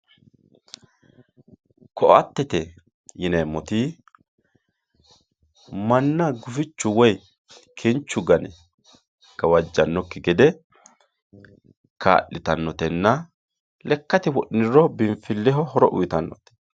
Koattete yineemmoti manna gufichu woyi kinchu gane gawajanokki gede kaa'littanotenna lekkate wodhiniro biinfileho horo uyittanote.